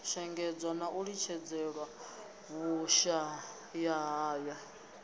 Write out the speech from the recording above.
shengedzwa na u litshedzelwa vhushayahaya